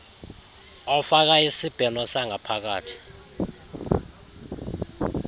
ofaka isibheno sangaphakathi